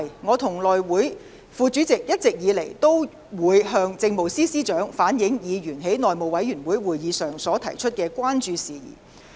我和內務委員會副主席一直以來，均會向政務司司長反映議員在內務委員會會議上所提出的關注事宜。